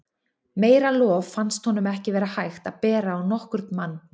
Meira lof fannst honum ekki vera hægt að bera á nokkurn mann.